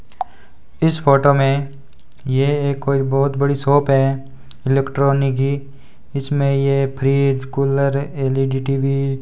इस फोटो में ये कोई बहुत बड़ी शॉप है इलेक्ट्रॉनिक की इसमें ये फ्रिज कूलर एल_इ_डी टी_वी --